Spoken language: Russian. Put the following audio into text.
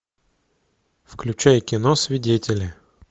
включай кино свидетели